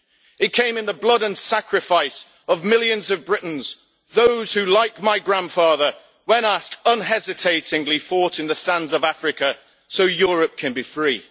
It came in the blood and sacrifice of millions of Britons those who, like my grandfather, when asked unhesitatingly fought in the sands of Africa so Europe can be free.